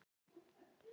Æ, nei.